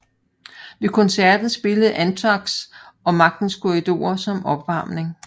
Ved koncerten spillede Anthrax og Magtens Korridorer som opvarmning